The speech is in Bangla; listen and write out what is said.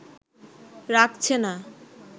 রাখছে না